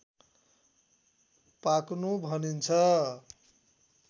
पाक्नु भनिन्छ